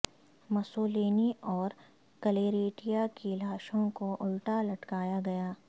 Mussolini اور Claretta کی لاشوں کو الٹا لٹکایا گیا